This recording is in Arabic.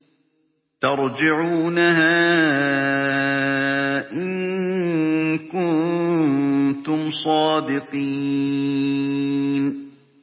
تَرْجِعُونَهَا إِن كُنتُمْ صَادِقِينَ